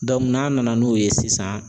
n'a nana n'o ye sisan